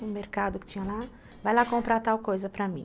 No mercado que tinha lá, vai lá comprar tal coisa para mim.